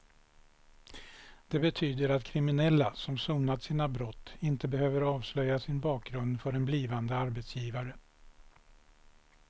Det betyder att kriminella som sonat sina brott inte behöver avslöja sin bakgrund för en blivande arbetsgivare.